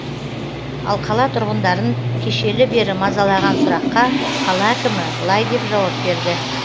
ал қала тұрғындарын кешелі бері мазалаған сұраққа қала әкімі былай деп жауап берді